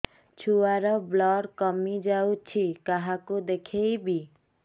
ଛୁଆ ର ବ୍ଲଡ଼ କମି ଯାଉଛି କାହାକୁ ଦେଖେଇବି